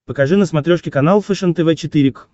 покажи на смотрешке канал фэшен тв четыре к